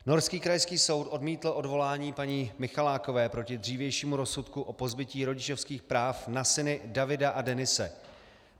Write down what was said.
Norský krajský soud odmítl odvolání paní Michalákové proti dřívějšímu rozsudku o pozbytí rodičovských práv na syny Davida a Denise.